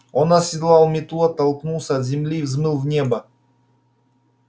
он оседлал метлу оттолкнулся от земли и взмыл в небо